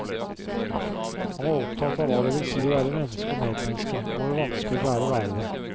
Han var opptatt av hva det vil si å være menneske og medmenneske, og hvor vanskelig det er å være det.